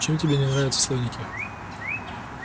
чем тебе не нравятся слоники